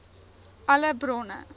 alle bronne